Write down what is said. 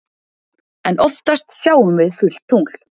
En oftast sjáum við fullt tungl.